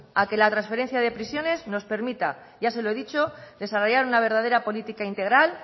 a que la transferencia de prisiones nos permita ya se lo he dicho desarrollar una verdadera política integral